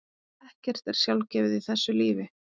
Ekkert er sjálfgefið í þessu lífi.